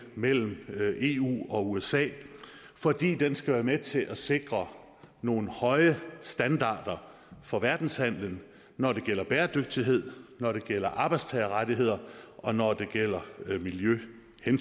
mellem eu og usa fordi den skal være med til at sikre nogle høje standarder for verdenshandelen når det gælder bæredygtighed når det gælder arbejdstagerrettigheder og når det gælder miljøhensyn